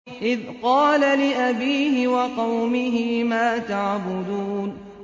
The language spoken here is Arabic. إِذْ قَالَ لِأَبِيهِ وَقَوْمِهِ مَا تَعْبُدُونَ